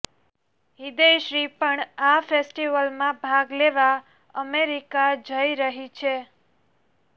હ્રદયશ્રી પણ આ ફેસ્ટીવલમાં ભાગ લેવા અમેરિકા જઈ રહી છે